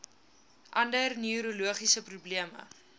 ander neurologiese probleme